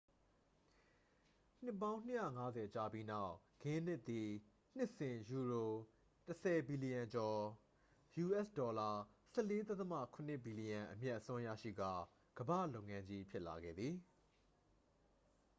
နှစ်ပေါင်း ၂၅၀ ကြာပြီးနောက် ဂင်းနစ်သည် နှစ်စဉ်ယူရို ၁၀ ဘီလျံကျော် us$၁၄.၇ ဘီလျံ အမြတ်အစွန်းရရှိကာ ကမ္ဘာလုပ်ငန်းကြီး ဖြစ်လာခဲ့သည်။